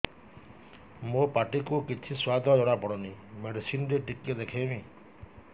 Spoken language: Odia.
ମୋ ପାଟି କୁ କିଛି ସୁଆଦ ଜଣାପଡ଼ୁନି ମେଡିସିନ ରେ ଟିକେ ଦେଖେଇମି